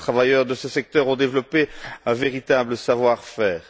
Nos travailleurs de ce secteur ont développé un véritable savoir faire.